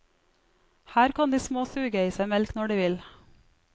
Her kan de små suge i seg melk når de vil.